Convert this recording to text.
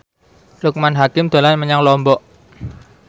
Loekman Hakim dolan menyang Lombok